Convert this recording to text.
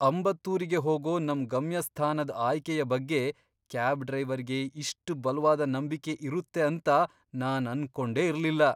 ಅಂಬತ್ತೂರಿಗೆ ಹೋಗೋ ನಮ್ ಗಮ್ಯಸ್ಥಾನದ್ ಆಯ್ಕೆಯ ಬಗ್ಗೆ ಕ್ಯಾಬ್ ಡ್ರೈವರ್ಗೆ ಇಷ್ಟ್ ಬಲ್ವಾದ ನಂಬಿಕೆ ಇರುತ್ತೆ ಅಂತ ನಾನ್ ಅನ್ಕೊಂಡೆ ಇರ್ಲಿಲ್ಲ.